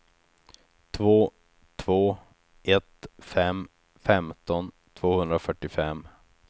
två två ett fem femton tvåhundrafyrtiofem